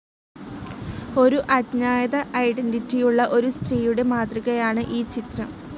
ഒരു അഞ്ജാത ഐഡന്റിറ്റി ഉള്ള ഒരു സ്ത്രീയുടെ മാതൃകയാണ് ഈ ചിത്രം.